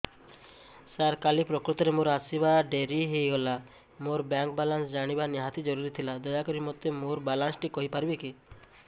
ସାର କାଲି ପ୍ରକୃତରେ ମୋର ଆସିବା ଡେରି ହେଇଗଲା ମୋର ବ୍ୟାଙ୍କ ବାଲାନ୍ସ ଜାଣିବା ନିହାତି ଜରୁରୀ ଥିଲା ଦୟାକରି ମୋତେ ମୋର ବାଲାନ୍ସ ଟି କହିପାରିବେକି